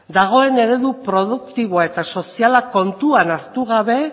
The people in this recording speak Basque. dagoen eredu produktiboa eta soziala kontuan hartu gabe